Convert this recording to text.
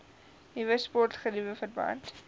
nuwe sportgeriewe verband